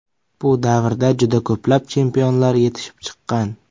Bu davrda juda ko‘plab chempionlar yetishib chiqqan.